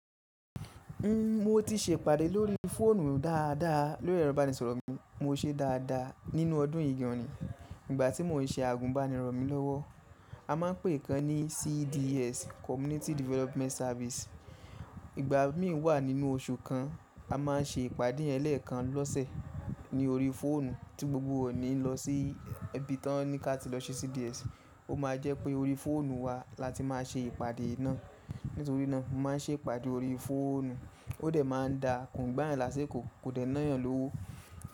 N, mo ti ṣe ìpàdé lórí fóònù dáadáa, lórí ẹ̀rọ ìbánisọ̀rọ̀ mi, mo ṣe é dáadáa nínú ọdún yìí gan ni. Ìgbà tí mo n ṣe àgùnbánirọ̀ mi lọ́wọ́, a máa n pè kan ní CDS, Community Development Service. Ìgbà mi wà nínú oṣù kan, a má n ṣe ìpàdé ẹlẹ́ẹ̀kan lọ́sẹ̀ ní orí fóònù tí gbogbo wa ò ní lọ sí ibi tí wọ́n ní ká ti lọ ṣe CDS, ó máa jẹ́ pé orí fóònù wa la ti máa ṣe ìpàdé náà. Nítorí náà, mo má n ṣe ìpàdé orí fóònù, ó dẹ̀ máa n da kòun gbá yan lásikò, kò dẹ̀ n ná yan lówó.